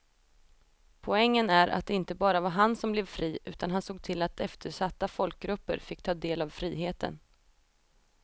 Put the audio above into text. Poängen är att det inte bara var han som blev fri utan han såg till att eftersatta folkgrupper fick ta del av friheten.